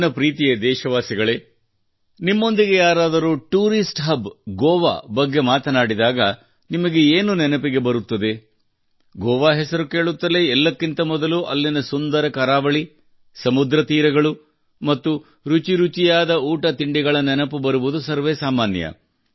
ನನ್ನ ಪ್ರೀತಿಯ ದೇಶವಾಸಿಗಳೇ ನಿಮ್ಮೊಂದಿಗೆ ಯಾರಾದರೂ ಟೂರಿಸ್ಟ್ ಹಬ್ ಗೋವಾ ಬಗ್ಗೆ ಮಾತನಾಡಿದಾಗ ನಿಮಗೆ ಏನು ನೆನಪಿಗೆ ಬರುತ್ತದೆ ಗೋವಾ ಹೆಸರು ಕೇಳುತ್ತಲೇ ಎಲ್ಲಕ್ಕಿಂತ ಮೊದಲು ಅಲ್ಲಿನ ಸುಂದರ ಕರಾವಳಿ ಸಮುದ್ರ ತೀರಗಳು ಮತ್ತು ರುಚಿಯಾದ ಊಟ ತಿಂಡಿಗಳ ನೆನಪು ಬರುವುದು ಸರ್ವೇಸಾಮಾನ್ಯ